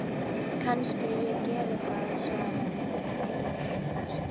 Kannski ég geri það svaraði Engilbert.